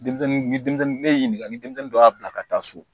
Denmisɛnnin ni denmisɛnnin ne ye ɲininka ni denmisɛnnin dɔ y'a bila ka taa so